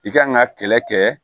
I kan ka kɛlɛ kɛ